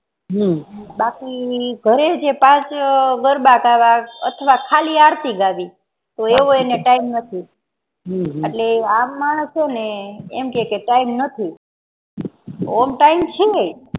હમ બાકી ઘરે જે પાંચ ગરબા ગાવા અથવા ખાલી આરતી ગાવી એવો એને time નથીએટલે હમ આમ માણસો ને એમ કહે કે time ઓમ time છે